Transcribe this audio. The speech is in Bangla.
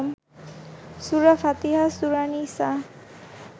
সুরা ফাতিহা, সুরা নিসা